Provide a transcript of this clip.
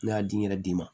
Ne y'a di n yɛrɛ ma